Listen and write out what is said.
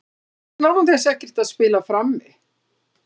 Saknar hún þess ekkert að spila frammi?